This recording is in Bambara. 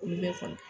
Olu bɛ falen